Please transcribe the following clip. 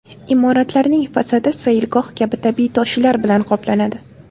Imoratlarning fasadi sayilgoh kabi tabiiy toshlar bilan qoplanadi.